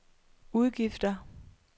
udgifter